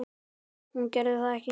Hún gerði það ekki.